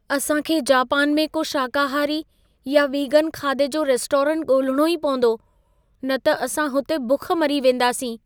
असां खे जापान में को शाकाहारी या वीगन खाधे जो रेस्टोरेंट ॻोल्हिणो ई पवंदो, न त असां हुते बुख मरी वेंदासीं।